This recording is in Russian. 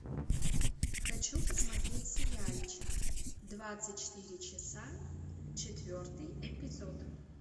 хочу посмотреть сериальчик двадцать четыре часа четвертый эпизод